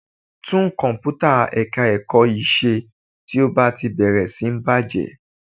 Tún kọ̀m̀pútà ẹ̀ká ẹ̀kọ yín ṣe tí ó bá ti bẹ̀rẹ̀ sí ní bàjẹ́